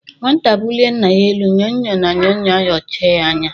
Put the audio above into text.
Nwata bulie Nna ya elu nyo-nyo na Nyo-nyo ayochie ya anya.